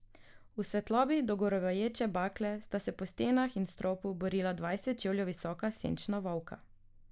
V svetlobi dogorevajoče bakle sta se po stenah in stropu borila dvajset čevljev visoka senčna volka.